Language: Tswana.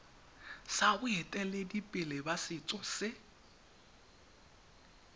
sa boeteledipele ba setso se